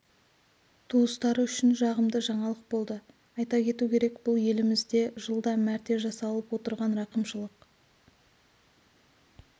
туыстары үшін жағымды жаңалық болды айта кету керек бұл елімізде жылда мәрте жасалып отырған рақымшылық